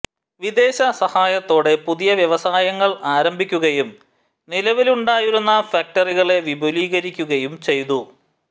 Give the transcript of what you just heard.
വിദേശസഹായത്തോടെ പുതിയ വ്യവസായങ്ങൾ ആരംഭിക്കുകയും നിലവിലുണ്ടായിരുന്ന ഫാക്റ്ററികളെ വിപുലീകരിക്കുകയും ചെയ്തു